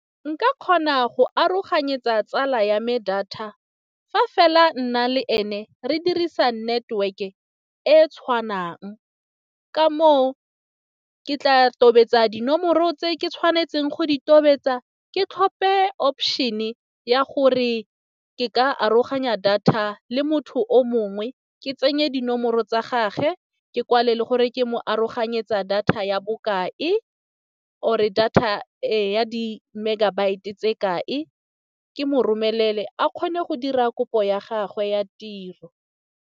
Nka kgona go aroganyetsa tsala ya me data fa fela nna le ene re dirisa network e e tshwanang. Ka moo ke tla tobetsa dinomoro tse ke tshwanetseng go di tobetsa, ke tlhophe option-e ya gore ke ka aroganya data le motho o mongwe, ke tsenye dinomoro tsa gage, ke kwale le gore ke mo aroganyetsa data ya bokae or-e data ya di megabytes tse kae. Ke mo romelele a kgone go dira kopo ya gagwe ya tiro.